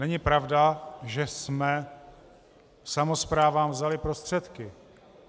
Není pravda, že jsme samosprávám vzali prostředky.